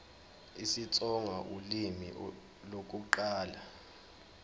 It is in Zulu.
isitsonga ulimi lokuqala